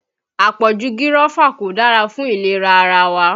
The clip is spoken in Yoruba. Àpọ̀jù gírọ́fà kò dára fún ìlera ara wa